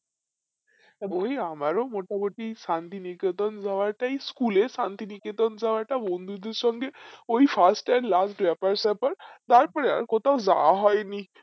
এই আমরা মোটামুটি শান্তিনিকেতন যাওয়া টাই school এ শান্তিনিকেতন যাওয়াটা বন্ধুদের সঙ্গে ওই frist and last day ব্যাপার স্যাপার তার পরে আর কোথাও যায় হয় নি